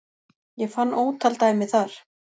Ég fann ótal dæmi þar